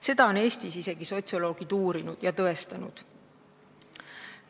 Seda on Eestis isegi sotsioloogid uurinud ja tõestanud.